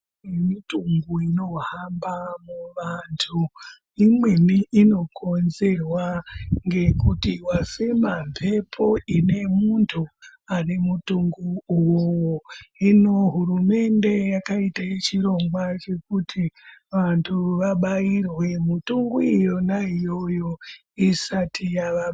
Minthungu inohamba muvantu imweni inokonzerwa ngekuti wafema mhepo ine muntu ane munthungu uwowo hino hurumende yakaite chirongwa chekuti vantu vabaairwe minthungu yona iyoyo isati yapararira.